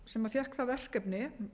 sem fékk það verkefni